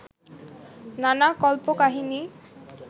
নানা কল্পকাহিনী